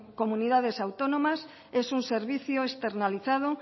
comunidades autónomas es un servicio externalizado